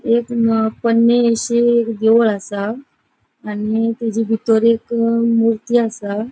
एक न पोन्नी शी एक देऊळ असा. आणि तेजी बितूर एक मूर्ती असा.